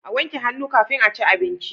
A wanke hannu kafin aci abinci